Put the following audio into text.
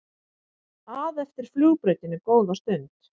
að eftir flugbrautinni góða stund.